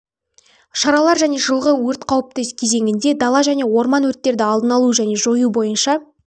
шаралар және жылғы өрт қауіпті кезеңінде дала және орман өрттерді алдын алу және жою бойынша